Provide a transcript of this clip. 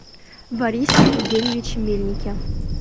борисе евгеньевиче мельнике